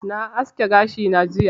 Na aske gashi na jiya